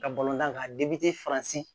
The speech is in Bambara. Ka tan ka faransi